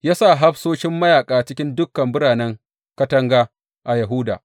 Ya sa hafsoshin mayaƙa cikin dukan biranen katanga a Yahuda.